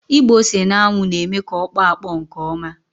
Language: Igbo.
Ịgba ose n'anwụ na-eme ka ọ kpọọ akpọ nke ọma.